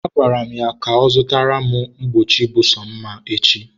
agwara m ya zụtara m akwa mgbochi bụ sọ mma echi.